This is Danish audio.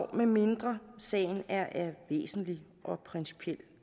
medmindre sagen er af væsentlig og principiel